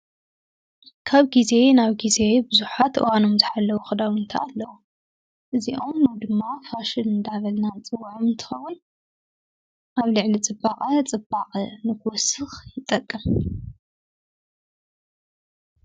ካብ ጊዜ ናብ ጊዜ ብዙኃት ወኖምዝኃለዉ ኽዳዉእንተኣለዉ እዚዖም ሎ ድማ ሓሽድ እንዳበልና ንፅውዐም እንትንከውን ኣብ ልዕሊ ጽባቕ ጽባቕ ንኽወስኽ ይጠቅም